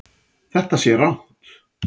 Þetta sé rangt.